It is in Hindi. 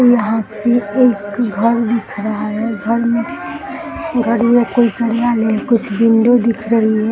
यहाँ पे एक घर दिख रहा है | घर में कुछ विंडो दिख रही है ।